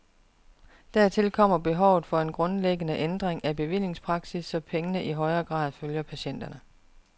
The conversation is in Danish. Dertil kommer behovet for en grundlæggende ændring af bevillingspraksis, så pengene i højere grad følger patienterne.